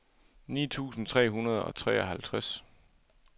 ni tusind tre hundrede og treoghalvtreds